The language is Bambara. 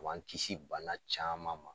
O b'an kisi bana caman ma.